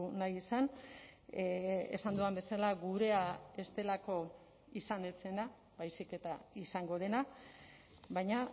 nahi izan esan dudan bezala gurea ez delako izan ez zena baizik eta izango dena baina